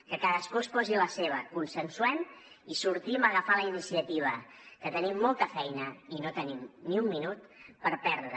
que cadascú es posi la seva consensuem i sortim a agafar la iniciativa que tenim molta feina i no tenim ni un minut per perdre